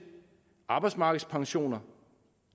arbejdsmarkedspensioner